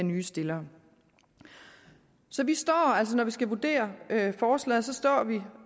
nye stillere så når vi skal vurdere forslaget står vi